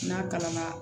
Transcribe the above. N'a kalan na